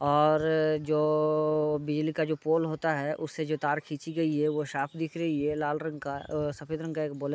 और जो बिजली का जो पोल होता है उससे जो तार खींची गई है वो साफ दिख रही है लाल रंग का। अ सफ़ेद रंग का एक बोले --